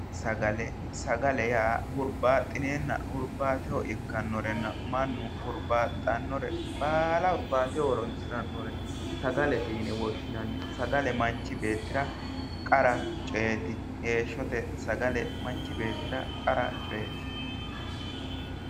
Sagale. sagale yaa huribaxineena huribaateho ikkanorenna mannu huribaaxanore baala huribateho horonisirannore sagalete yine woshinanni sagale manichi beetira qara coyeti heeshote sagale manichi beetira qara coyeti